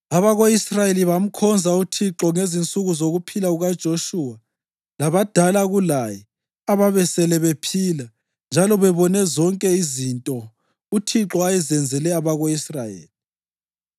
Abako-Israyeli bamkhonza uThixo ngezinsuku zokuphila kukaJoshuwa labadala kulaye ababesele bephila njalo bebone zonke izinto uThixo ayezenzele abako-Israyeli.